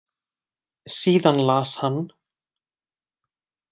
Síðan las hann: